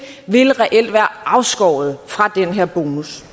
reelt være afskåret fra den her bonus